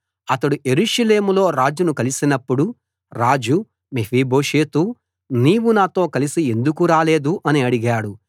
అతడు యెరూషలేములో రాజును కలిసినప్పుడు రాజు మెఫీబోషెతూ నీవు నాతో కలసి ఎందుకు రాలేదు అని అడిగాడు